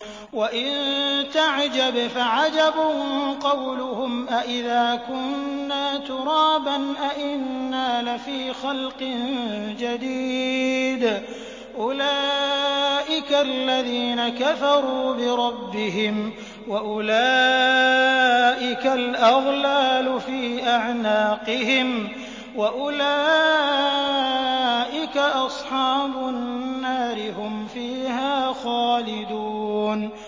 ۞ وَإِن تَعْجَبْ فَعَجَبٌ قَوْلُهُمْ أَإِذَا كُنَّا تُرَابًا أَإِنَّا لَفِي خَلْقٍ جَدِيدٍ ۗ أُولَٰئِكَ الَّذِينَ كَفَرُوا بِرَبِّهِمْ ۖ وَأُولَٰئِكَ الْأَغْلَالُ فِي أَعْنَاقِهِمْ ۖ وَأُولَٰئِكَ أَصْحَابُ النَّارِ ۖ هُمْ فِيهَا خَالِدُونَ